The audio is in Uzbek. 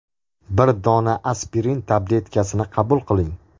Bir dona aspirin tabletkasini qabul qiling.